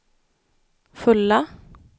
fulla